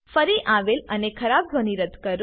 ફરી આવેલ અને ખરાબ ધ્વની રદ્દ કરો